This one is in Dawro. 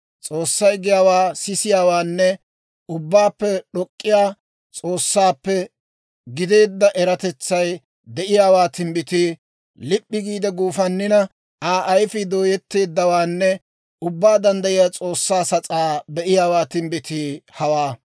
S'oossay giyaawaa sisiyaawaanne, Ubbaappe d'ok'k'iyaa S'oossaappe gideedda eratetsay de'iyaawaa timbbitii, Lip'p'i giide guufannina, Aa ayfii dooyetteeddawaanne Ubbaa Danddayiyaa S'oossaa sas'aa be'iyaawaa timbbitii hawaa.